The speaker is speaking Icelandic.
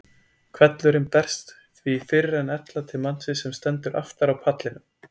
Hvellurinn berst því fyrr en ella til mannsins sem stendur aftar á pallinum.